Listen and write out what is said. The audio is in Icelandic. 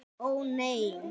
Ó nei!